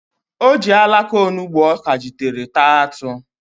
O ji alaka onugbo ọ kajitere taa atụ.